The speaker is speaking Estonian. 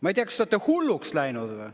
Ma ei tea, kas te olete hulluks läinud.